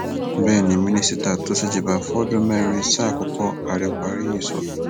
bẹẹ ni minister tó ṣèjọba fọdún mẹrin sáà àkọkọ ààrẹ buhari yìí sọ